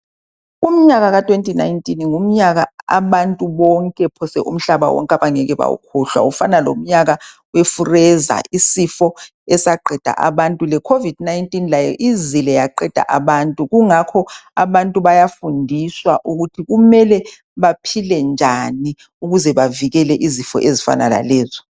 Umnyaka ka2019 ngumnyaka phose abantu bonke umhlaba wonke abangeke bawukhohlwe ufana lomnyaka wefureza isifo esaqeda abantu. Lekhovidi ibuye yaqeda abantu ngakho uzulu uyafundiswa ukuvikela izifo ezifana lalezo.